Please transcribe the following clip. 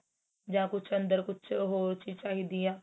ਜਾਂ ਕੁੱਝ ਅੰਦਰ ਕੁੱਝ ਹੋਰ ਚੀਜ ਚਾਹੀਦੀ ਏ